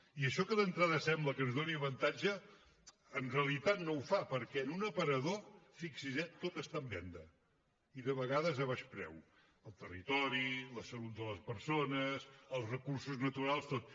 i això que d’entrada sembla que ens doni avantatge en realitat no ho fa perquè en un aparador fixi’s eh tot està en venda i de vegades a baix preu el territori la salut de les persones els recursos naturals tot